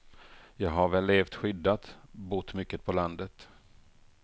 Jag har väl levt skyddat, bott mycket på landet.